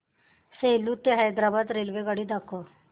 सेलू ते हैदराबाद रेल्वेगाडी दाखवा